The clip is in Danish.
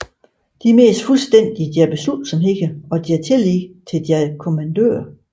De mistede fuldstændig deres beslutsomhed og deres tillid til deres kommandører